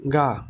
Nka